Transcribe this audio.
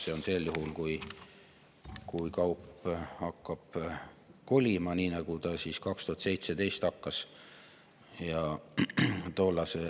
See on sel juhul, kui kaup hakkab kolima, nii nagu see 2017. aastal hakkas.